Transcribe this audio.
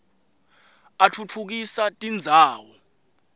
atfutfukisa tindzawo